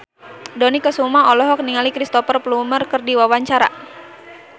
Dony Kesuma olohok ningali Cristhoper Plumer keur diwawancara